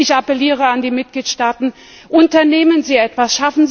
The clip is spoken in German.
Ich appelliere an die Mitgliedstaaten Unternehmen Sie etwas!